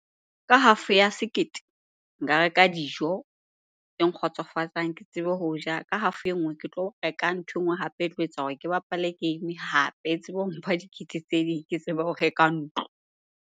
Ka half ya sekete nka reka dijo tse nkgotsofatsang ke tsebe ho ja. Ka half e nngwe ke tlo reka nthwe nngwe hape e tlo etsa hore ke bapale game hape e tsebe ho mpha dikete tse ding ke tsebe ho reka ntlo.